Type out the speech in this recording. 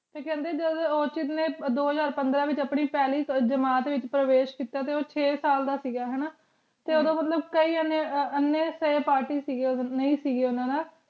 T ਕਾਂਡੀ ਦੋ ਹਜ਼ਾਰ ਪੰਦਰਾਂ ਆਪਣੀ ਫਲੀ ਜਿਮਤ ਵੇਚ ਪਰਵੇਸ਼ ਕੀਤਾ ਟੀ ਛੇ ਸਾਲ ਦਾ ਸੀਗਾ ਹਾਨਾ ਟੀ ਉਦੁਨ ਮਤਲਬ ਕਿਯਾਨ ਨੀ party ਦੇਤੀ ਜੇਰੀ ਨੀ ਸੇ ਉਨਾ ਨਾਲ